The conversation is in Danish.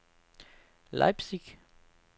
Leipzig